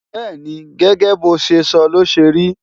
bẹ́́ẹ̀ni, gẹ́gẹ́ bo ṣe sọ ló ṣe ri